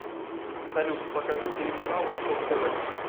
салют покажи телеканал восток тв